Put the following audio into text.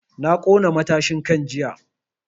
Na ƙona matashin kan jiya